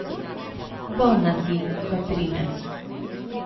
Bolna si, Katrine.